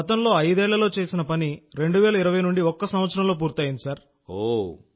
మనం గతంలో ఐదేళ్లలో చేసే పని 2020 నుండి ఒక సంవత్సరంలో పూర్తవుతోంది సార్